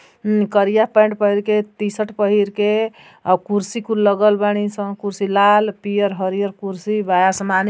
ऊ करिया पैंट पहीर के टी-शर्ट पहिर के और कुर्सी कुल लगल बानी सन। कुर्सी लाल पियर हरियर कुर्सी बा। असमानी --